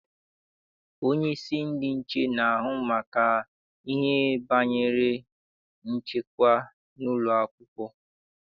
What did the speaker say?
Onyeisi ndị nche na-ahụ maka ihe banyere nchekwa n'ụlọakwụkwọ.